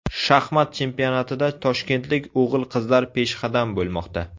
Shaxmat chempionatida toshkentlik o‘g‘il-qizlar peshqadam bo‘lmoqda.